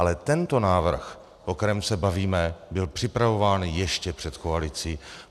Ale tento návrh, o kterém se bavíme, byl připravován ještě před koalicí.